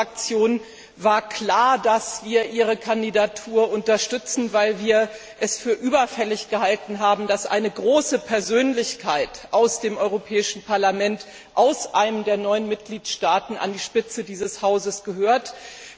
Für meine Fraktion war klar, dass wir Ihre Kandidatur unterstützen, weil wir es für überfällig gehalten haben, dass eine große Persönlichkeit aus dem Europäischen Parlament aus einem der neuen Mitgliedstaaten an der Spitze dieses Hauses steht.